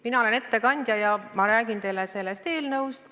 Mina olen ettekandja ja ma räägin teile sellest eelnõust.